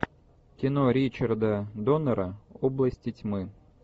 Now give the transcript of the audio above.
кино ричарда доннера области тьмы